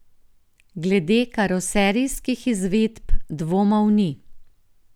Glede karoserijskih izvedb dvomov ni.